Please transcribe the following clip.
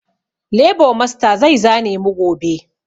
Lebo masta zai zane mu gobe